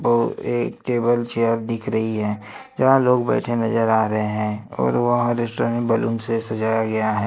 एक table chair दिख रही है जहां लोग बैठे नजर आ रहे हैं और वहां रेस्टोरेंट बैलून से सजाया गया है।